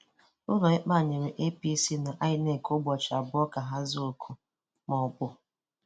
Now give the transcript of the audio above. Ụlọikpe a nyere APC na INEC ụbọchị abụọ ka ha zaa oku a, ma ọ bụ… bụ…